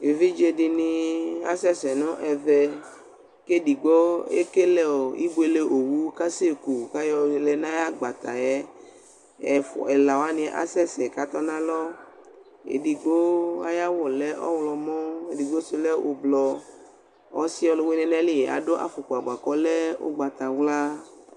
Evidze dɩnɩ asɛsɛ nʋ ɛvɛ, kʋ edigbo ekele ibuele owu kʋ asɛku, kʋ ayɔ lɛ nʋ ayʋ agbata yɛ, ɛla wanɩ asɛsɛ kʋ atɔ nʋ alɔ, edigbo ayʋ awʋ lɛ ɔɣlɔmɔ, edigbo sʋ lɛ ʋblɔ, ɔsɩ ɔlʋwɩnɩ nʋ ayili adʋ afɔkpa, bʋa kʋ ɔlɛ ʋgbatawla